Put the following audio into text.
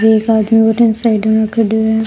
एक आदमी भटीने साइड में खड़यो है।